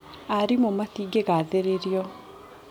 Arimũ matingĩgathĩrĩirio.